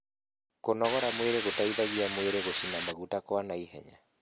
kũnogora mwĩrĩ gũteithagia mwĩrĩ gucina maguta kwa naihenya